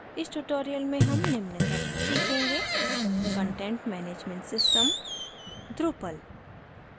इस tutorial में हम निम्न करना सीखेंगे: content management system विषयवस्तु प्रबंधन प्रणाली drupal